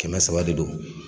Kɛmɛ saba de do.